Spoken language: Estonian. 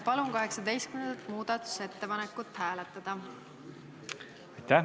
Palun 18. muudatusettepanekut hääletada!